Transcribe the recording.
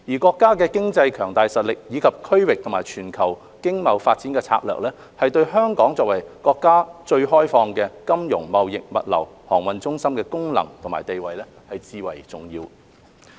國家的經濟強大實力，以及其經貿及全球發展策略，對香港作為國家最開放的金融、貿易、物流航運中心的功能和地位，至為重要。